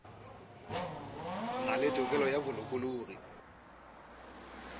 na le tokelo ya bolokologi